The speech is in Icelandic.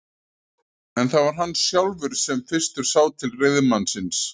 En það var hann sjálfur sem fyrstur sá til reiðmannsins.